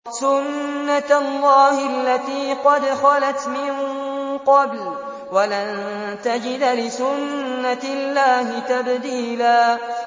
سُنَّةَ اللَّهِ الَّتِي قَدْ خَلَتْ مِن قَبْلُ ۖ وَلَن تَجِدَ لِسُنَّةِ اللَّهِ تَبْدِيلًا